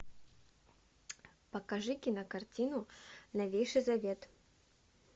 покажи кинокартину новейший завет